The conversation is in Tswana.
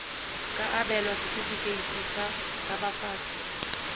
ka abelwa setefikeiti sa tshabafatso